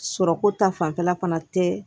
Sɔrɔko ta fanfɛla fana tɛ